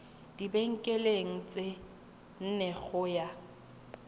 dibekeng tse nne go ya